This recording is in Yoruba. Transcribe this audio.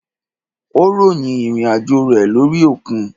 Ó ròyìn ìrìn àjò rẹ lórí òkun.